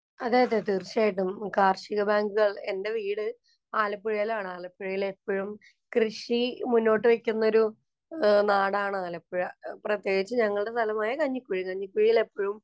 അതെയതെ, തീര്‍ച്ചയായിട്ടും. കാര്‍ഷിക ബാങ്കുകള്‍, എന്‍റെ വീട് ആലപ്പുഴയിലാണ്. ആലപ്പുഴയില്‍ എപ്പഴും കൃഷി മുന്നോട്ടു വയ്ക്കുന്ന ഒരു നാടാണ് ആലപ്പുഴ. പ്രത്യേകിച്ച് ഞങ്ങളുടെ സ്ഥലമായ കഞ്ഞിക്കുഴി. കഞ്ഞിക്കുഴിയില്‍ എപ്പഴും